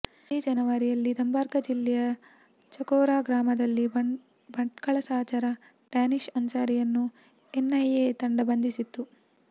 ಇದೇ ಜನವರಿಯಲ್ಲಿ ದರ್ಭಾಂಗ ಜಿಲ್ಲೆಯ ಚಕ್ಜೋರಾ ಗ್ರಾಮದಲ್ಲಿ ಭಟ್ಕಳ ಸಹಚರ ಡ್ಯಾನಿಷ್ ಅನ್ಸಾರಿಯನ್ನು ಎನ್ಐಎ ತಂಡ ಬಂಧಿಸಿತ್ತು